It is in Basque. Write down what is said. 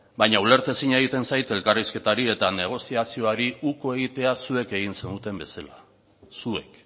baina ulertezina egiten zait elkarrizketari eta negoziaziori uko egitea zuek egin zenuten bezala zuek